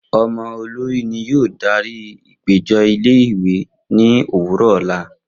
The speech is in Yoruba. Omo olori ni yoo dari apejọ ile-iwe ni owurọ ọla